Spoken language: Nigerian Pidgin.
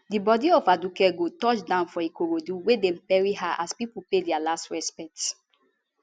di bodi of aduke gold touch down for ikorodu wia dem bury her as pipo pay dia last respect